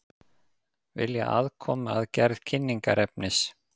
Vilja aðkomu að gerð kynningarefnis